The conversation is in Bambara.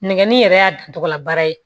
Nɛgɛnni yɛrɛ y'a dan tɔgɔla baara ye